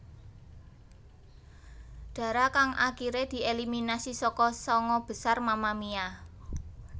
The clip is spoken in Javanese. Dara kang akiré dieliminasi saka sanga besar Mamamia